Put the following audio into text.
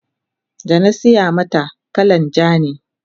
danasiya mata kalan ja ne